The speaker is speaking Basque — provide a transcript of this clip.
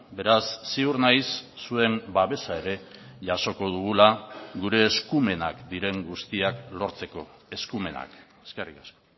beraz ziur naiz zuen babesa ere jasoko dugula gure eskumenak diren guztiak lortzeko eskumenak eskerrik asko